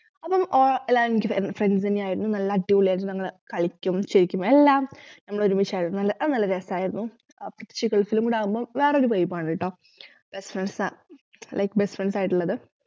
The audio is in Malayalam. അപ്പോം ഏർ എല്ലാർ എനിക്ക് friends തന്നെയായിരുന്നു നല്ല അടിപൊളിയായിരുന്നു ഞങ്ങള് കളിക്കും ചിരിക്കും എല്ലാം നമ്മളോരുമിച്ചായിരുന്നു നല്ല അതു നല്ലരസായിരുന്നു പ്രതേകിച്ചു ഗൾഫിലും കൂടാവുമ്പോ വേറൊരു vibe ആണുട്ടോ best friends like best friends ആയിട്ടുള്ളത്